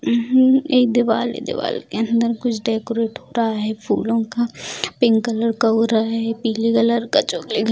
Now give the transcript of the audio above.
हम्म एक दीवाल है दीवाल के अंदर कुछ डेकोरेट हो रहा है फूलों का पिंक कलर का हो रहा है पिले कलर का चॉकलेट --